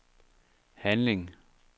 handling